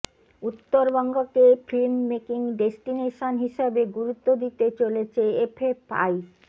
উত্তরবঙ্গকে film making destination হিসেবে গুরুত্ব দিতে চলেছে এফএফআই